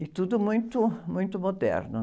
e tudo muito, muito moderno.